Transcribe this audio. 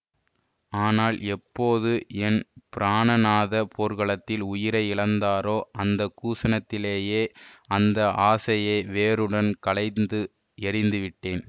ஆனால் எப்போது என் பிராணநாதர் போர்க்களத்தில் உயிரை இழந்தாரோ அந்த க்ஷணத்திலேயே அந்த ஆசையை வேருடன் களைந்து எறிந்துவிட்டேன்